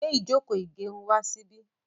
gbé Ijoko igerun wá sí bí